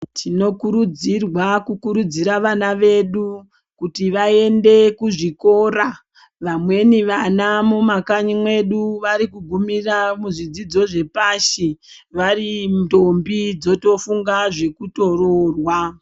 Tinokurudzirwa kukurudzira vana vedu kuti vaende kuzvikora, vamweni vana mumakanyi mwedu, vari kugumira muzvidzidzo zvepashi, vari ntombi dzotofunga zvekutoroorwa.